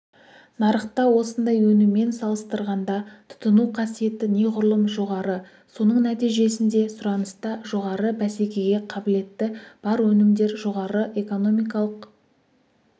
нарықта осындай өніммен салыстырғанда тұтыну қасиеті неғұрлым жоғары соның нәтижесінде сұраныста жоғары бәсекеге қабілетті бар өнімдер жоғары экономикалық